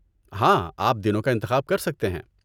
ہاں، آپ دنوں کا انتخاب کر سکتے ہیں۔